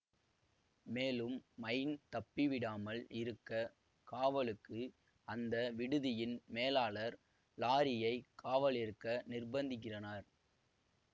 மேலும் மைன் தப்பி விடாமல் இருக்க காவலுக்கு அந்த விடுதியின் மேலாளர் லாரியை காவலிருக்க நிர்பந்திக்கிறனர்